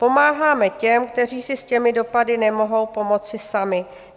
Pomáháme těm, kteří si s těmi dopady nemohou pomoci sami.